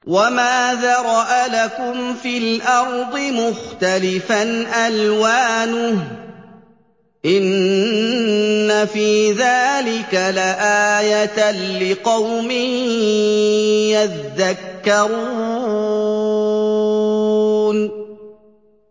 وَمَا ذَرَأَ لَكُمْ فِي الْأَرْضِ مُخْتَلِفًا أَلْوَانُهُ ۗ إِنَّ فِي ذَٰلِكَ لَآيَةً لِّقَوْمٍ يَذَّكَّرُونَ